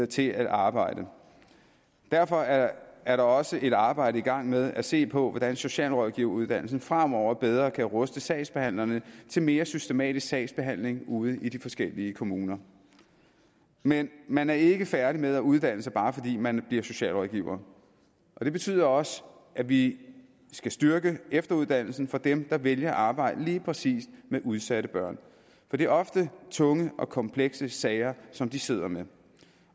til at arbejde derfor er er der også et arbejde i gang med at se på hvordan socialrådgiveruddannelsen fremover bedre kan ruste sagsbehandlerne til mere systematisk sagsbehandling ude i de forskellige kommuner men man er ikke færdig med at uddanne sig bare fordi man bliver socialrådgiver og det betyder også at vi skal styrke efteruddannelsen for dem der vælger at arbejde lige præcis med udsatte børn for det er ofte tunge og komplekse sager som de sidder med